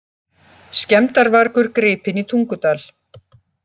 Skemmdarvargur gripinn í Tungudal